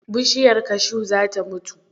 Bishiyar kashu za ta mutu.